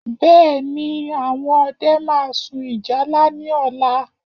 Bẹ́ẹ̀ni, àwọn ọdẹ máa sun ìyálá ní ọ̀la